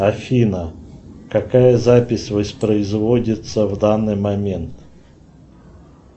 афина какая запись воспроизводится в данный момент